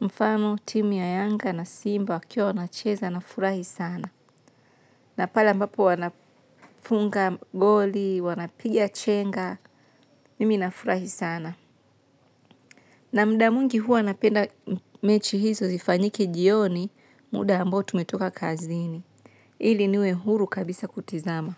Mfano timu ya yanga na simba wakiwa wanacheza nafurahi sana. Na pale ambapo wanafunga goli wanapiga chenga mimi nafurahi sana. Na mda mwingi huwa napenda mechi hizo zifanyike jioni muda ambao tumetoka kazini. Ili niwe huru kabisa kutizama.